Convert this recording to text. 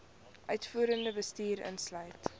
uitvoerende bestuur insluit